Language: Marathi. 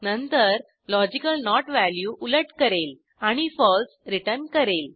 नंतर लॉजिकल नोट व्हॅल्यू उलट करेल आणि फळसे रिटर्न करेल